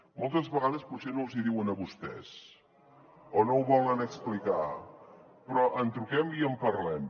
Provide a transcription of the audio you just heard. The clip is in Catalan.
moltes vegades potser no els hi diuen a vostès o no ho volen explicar però truquem i en parlem